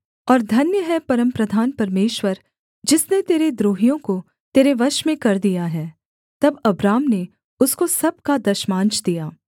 और धन्य है परमप्रधान परमेश्वर जिसने तेरे द्रोहियों को तेरे वश में कर दिया है तब अब्राम ने उसको सब का दशमांश दिया